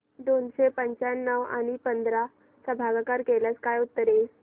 दोनशे पंच्याण्णव आणि पंधरा चा भागाकार केल्यास काय उत्तर येईल